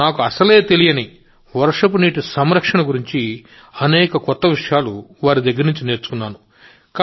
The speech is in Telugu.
నాకు అసలే తెలియని వర్షపు నీటి సంరక్షణ వంటి అనేక కొత్త విషయాలు నేర్చుకున్నాను